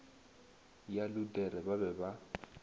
ya luthere ba be ba